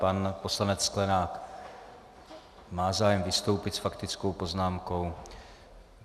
Pan poslanec Sklenák má zájem vystoupit s faktickou poznámkou.